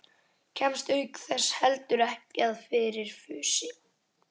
Kemst auk þess heldur ekki að fyrir fussi